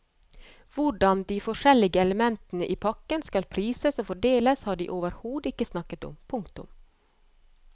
Hvordan de forskjellige elementene i pakken skal prises og fordeles har de overhodet ikke snakket om. punktum